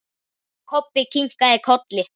Kobbi kinkaði kolli.